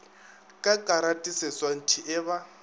ka karate seswantšhi e ba